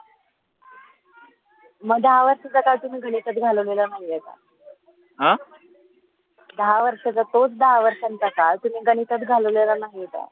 दहा वर्षाच तो दहा वर्षं च काळ तोच दहा वर्षा च गणितात घालवलेल नाही का